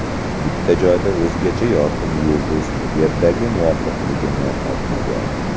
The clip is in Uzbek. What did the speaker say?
Bitta joyda o‘zgacha yorqin yulduz Yerdagi muvofiqligini topmagan.